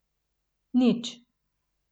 Nič.